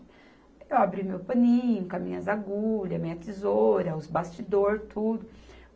Eu abri meu paninho com as minhas agulhas, minha tesoura, os bastidores, tudo.